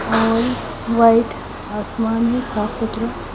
और वाईट आसमान है साफ सुथरा--